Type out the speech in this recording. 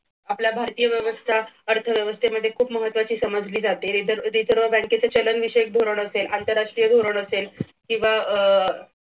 आपल्या भारतीय अर्थव्यवस्था आपल्या भारतीय व्यवस्था अर्थव्यवस्थेमध्ये खूप महत्त्वाचे समजले जाते reserve बँकेचे चलन विषयक धोरण असे आंतरराष्ट्रीय धोरण असेल किंवा